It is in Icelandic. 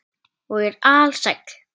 Og er alsæll.